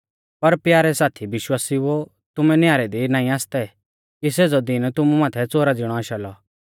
पर प्यारै साथी विश्वासिउओ तुमै न्यारै दी नाईं आसतै कि सेज़ौ दीन तुमु माथै च़ोरा ज़िणौ आशा लौ